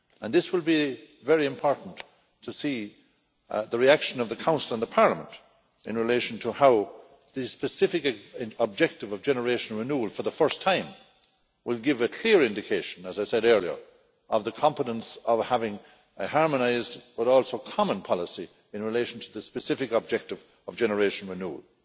It will be very important to see the reaction of the Council and Parliament in relation to how the specific objective of generation renewal for the first time will give a clear indication, as I said earlier, of the competence of having a harmonised but also common policy in relation to the specific objective of generation renewal.